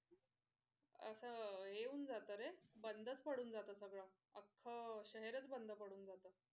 असं हे होऊन जात रे बंदच पडून जात सगळं आक्ख शहरच बंद पडून जात.